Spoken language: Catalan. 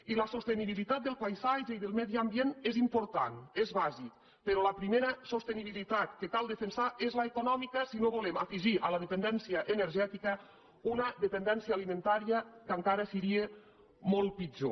i la sostenibilitat del paisatge i del medi ambient és important és bàsica però la primera sostenibilitat que cal defensar és l’econòmica si no volem afegir a la dependència energètica una dependència alimentària que encara seria molt pitjor